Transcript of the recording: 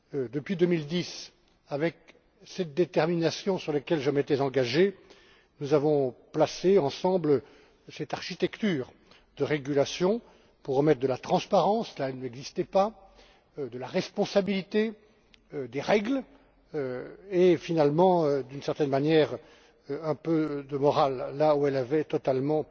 Depuis 2010, avec cette détermination à laquelle je m'étais engagé, nous avons monté ensemble cette architecture de régulation pour remettre de la transparence là où elle n'existait pas, de la responsabilité, des règles, et, finalement, d'une certaine manière, un peu de morale là où elle avait totalement